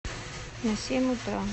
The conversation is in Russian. на семь утра